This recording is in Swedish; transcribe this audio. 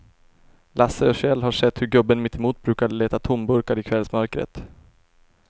Lasse och Kjell har sett hur gubben mittemot brukar leta tomburkar i kvällsmörkret.